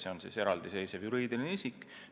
See on eraldiseisev juriidiline isik.